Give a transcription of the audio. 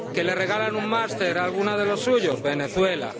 que le regalan un máster a alguno de los suyos, Venezuela